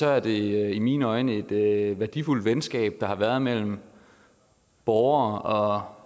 er det i mine øjne et værdifuldt venskab der har været mellem borgere